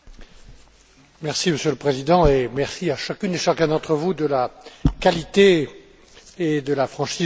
Monsieur le Président, merci à chacune et chacun d'entre vous de la qualité et de la franchise de vos interventions.